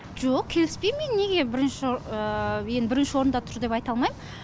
жоқ келіспейм мен неге бірінші енді бірінші орында тұр деп айта алмайм